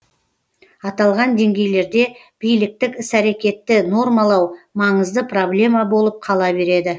аталған деңгейлерде биліктік іс әрекетті нормалау маңызды проблема болып кала береді